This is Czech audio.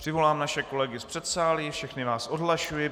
Přivolám naše kolegy z předsálí, všechny vás odhlašuji.